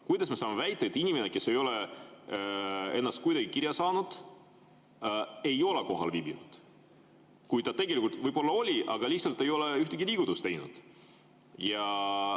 Kuidas me saame väita, et inimene, kes ei ole ennast kuidagi kirja saanud, ei ole kohal viibinud, kui ta tegelikult võib-olla oli, aga ta lihtsalt ei teinud ühtegi liigutust?